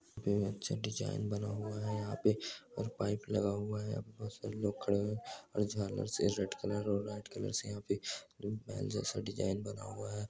---पे अच्छा डिजाइन बना हुआ हैं यहां पे और पाइप लगा हुआ हैं बहुत सारे लोग खड़े है और झालर से यहां रेड कलर और व्हाइट कलर से यहां पे पायल जैसा डिजाइन बना हुआ हैं।